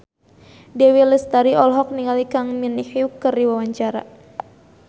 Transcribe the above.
Dewi Lestari olohok ningali Kang Min Hyuk keur diwawancara